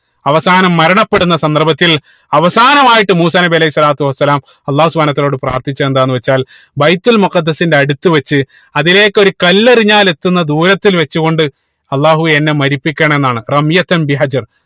അവസാനം മരണപ്പെടുന്ന സന്ദർഭത്തിൽ അവസാനമായിട്ട് മൂസാ നബി അലൈഹി സ്വലാത്തു വസ്സലാം അള്ളാഹു സുബ്‌ഹാനഉ വതാലയോട് പ്രാർത്ഥിച്ചത് എന്താണെന്ന് വെച്ചാൽ ബൈത്തുൽ മുഖദ്ദിസിന്റെ അടുത്ത് വെച്ച് അതിലേക്ക് ഒരു കല്ല് എറിഞ്ഞാൽ എത്തുന്ന ദൂരത്തിൽ വെച്ചു കൊണ്ട് അള്ളാഹുവേ എന്നെ മരിപ്പിക്കണം എന്നാണ്